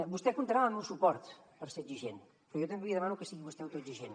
vostè comptarà amb el meu suport per ser exigent però jo també li demano que sigui vostè autoexigent